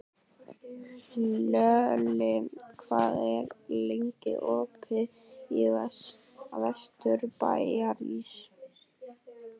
Hlölli, hvað er lengi opið í Vesturbæjarís?